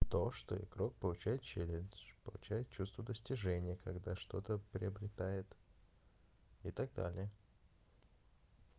то что игрок получает челлендж получает чувство достижения когда что-то приобретает и так далее